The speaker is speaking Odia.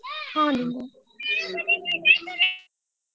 ହଁ ଦିଦି।